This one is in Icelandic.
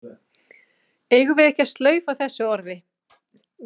Eigum við ekki að slaufa þessu orði?